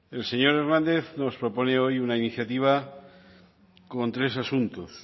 el señor hernández nos propone hoy una iniciativa con tres asuntos